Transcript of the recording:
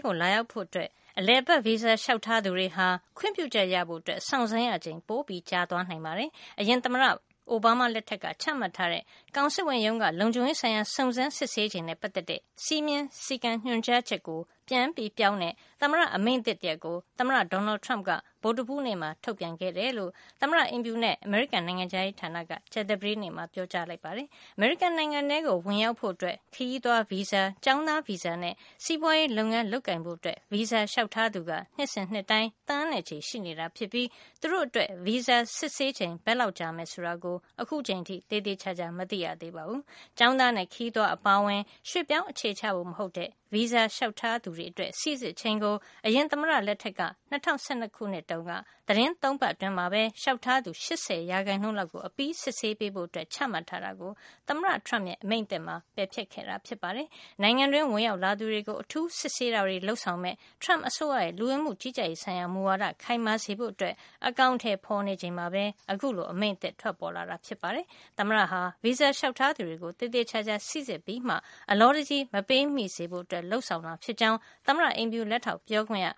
ကို လာရောက်ဖို့ အလည်အပတ်ဗီဇာ လျှောက်ထားသူတွေဟာ ခွင့်ပြုချက်ရဖို့ စောင့်ရချိန် ပိုကြာသွားနိုင်ပါတယ်။ အရင်သမ္မတ အိုဘားမား လက်ထက်က ချမှတ်ထားတဲ့ ကောင်စစ်ဝန်ရုံးက လုံခြုံရေးဆိုင်ရာ စုံစမ်း စစ်ဆေးချိန်နဲ့ ပတ်သက်တဲ့ စည်းမျဉ်း ညွှန်ကြားချက်ကို ပြန်ပြောင်းတဲ့ သမ္မအမိန့်သစ် တရပ်ကို သမ္မတ Donald Trump က ဗုဒ္ဓဟူးနေ့မှာ ထုတ်ပြန်ခဲ့တယ်လို့ သမ္မတ အိမ်ဖြူတော်နဲ့ အမေရိကန် နိုင်ငံခြားရေးဌာနက ကြာသပတေးနေ့မှာ ပြောပါတယ်။ အမေရိကန် နိုင်ငံထဲကိုဝင်ရောက်ဖို့ ခရီးသွားဗီဇာ၊ ကျောင်းသားဗီဇာနဲ့ စီးပွါးရေး လုပ်ငန်း လုပ်ကိုင်ဖို့ ဗီဇာ လျှောက်ထားသူက နှစ်စဉ်နှစ်တိုင်း သန်းနဲ့ ချီ ရှိနေပြီး သူတို့အတွက် ဗီဇာ စစ်ဆေးချိန် ဘယ်လောက်ကြာမယ် ဆိုတာကို အခုချိန်အထိ သေသေချာချာ မသိရသေးပါဘူး။ ကျောင်းသားနဲ့ ခရီးသွား အပါအဝင် ရွှေ့ပြောင်း အခြေချဖို့ မဟုတ်တဲ့ ဗီဇာလျှောက်ထားသူတွေ အတွက် စီစစ်ချိန်ကို အရင်သမ္မတ လက်ထက် ၂၀၁၂ ခုနှစ်တုန်းက သီတင်း ၃ ပတ်အတွင်း လျှောက်ထားသူ ၈၀ % လောက်ကို အပြီးစစ်ဆေးပေးဖို့ ချမှတ်ထားတာကို သမ္မတ Trump ရဲ့ အမိန့်သစ်မှာ ပယ်ဖျက်ခဲ့တာ ဖြစ်ပါတယ်။ နိုင်ငံတွင်း ဝင်ရောက်လာသူတွေကို အထူးစစ်ဆေးတာတွေ လုပ်ဆောင်မယ့် Trump အစိုးရရဲ့ လူဝင်မှု ကြီးကြပ်ရေး ဆိုင်ရာမူဝါဒ ခိုင်မာစေဖို့ အကောင်ထည်ဖေါ်နေချိန်မှာပဲ အခုလို အမိန့်သစ် ထွက်ပေါ်လာတာ ဖြစ်ပါတယ်။ သမ္မတဟာ ဗီဇာ လျှောက်ထားသူတွေအကို သေသေချာချာ စီစစ်မှာ ဖြစ်ပြီး အလောတကြီး မပေးမိစေဖို့ လုပ်ဆောင်တာ ဖြစ်ကြောင်း သမ္မတ အိမ်ဖြူ လက်ထောက်ပြောခွင့်ရ